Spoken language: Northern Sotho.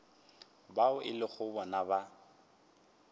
bao e lego bona ba